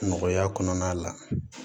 Nɔgɔya kɔnɔna la